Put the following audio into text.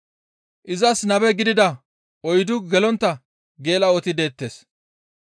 Izas nabe gidida oyddu gelontta geela7oti deettes.